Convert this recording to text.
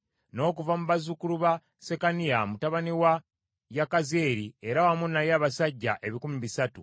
n’okuva mu bazzukulu ba Sekaniya, mutabani wa Yakazyeri, era wamu naye abasajja ebikumi bisatu (300);